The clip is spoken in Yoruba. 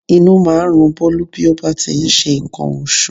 Inú máa ń run Bólú bí ó bá ti ń ṣe nǹkan oṣù